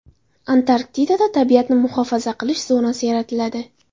Antarktikada tabiatni muhofaza qilish zonasi yaratiladi.